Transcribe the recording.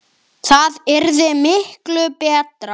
Sem hún gerði.